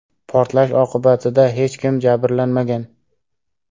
Portlash oqibatida hech kim jabrlanmagan.